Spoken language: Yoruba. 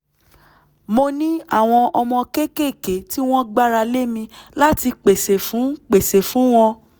mo ní àwọn ọmọ kéékèèké tí wọ́n gbára lé mi láti pèsè fún pèsè fún wọn